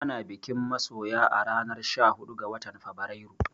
Ana bikin masoya a ranar sha huɗu ga watan Fabrairu